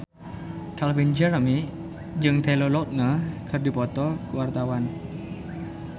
Calvin Jeremy jeung Taylor Lautner keur dipoto ku wartawan